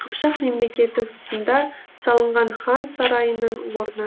қыпшақ мемлекеті тұсында салынған хан сарайының орны